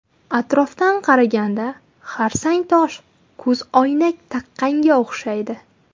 Atrofdan qaraganda xarsangtosh ko‘zoynak taqqanga o‘xshaydi.